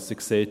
Sie sehen: